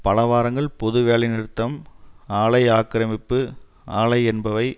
பல வாரங்கள் பொது வேலை நிறுத்தம் ஆலை ஆக்கிரமிப்பு அலை என்பவை